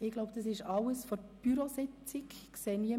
Ich glaube, dass ich alles aus der Bürositzung mitgeteilt habe.